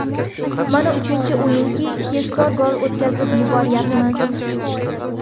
Mana uchinchi o‘yinki tezkor gol o‘tkazib yuboryapmiz.